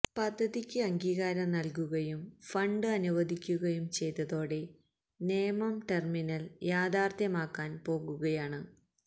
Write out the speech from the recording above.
പദ്ധതിക്ക് അംഗീകാരം നല്കുകയും ഫണ്ട് അനുവദിക്കുകയും ചെയ്തതോടെ നേമം ടെര്മിനല് യാഥാര്ത്ഥ്യമാക്കാന് പോകുകയാണ്